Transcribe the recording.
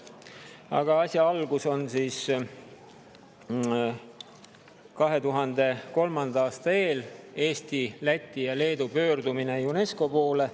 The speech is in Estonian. Aga asi sai alguse 2003. aasta eel, mil Eesti, Läti ja Leedu pöördusid UNESCO poole.